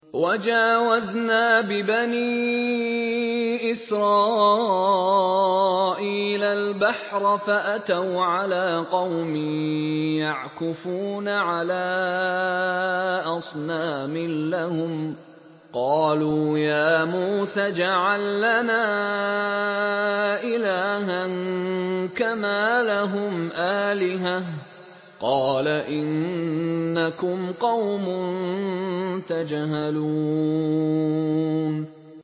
وَجَاوَزْنَا بِبَنِي إِسْرَائِيلَ الْبَحْرَ فَأَتَوْا عَلَىٰ قَوْمٍ يَعْكُفُونَ عَلَىٰ أَصْنَامٍ لَّهُمْ ۚ قَالُوا يَا مُوسَى اجْعَل لَّنَا إِلَٰهًا كَمَا لَهُمْ آلِهَةٌ ۚ قَالَ إِنَّكُمْ قَوْمٌ تَجْهَلُونَ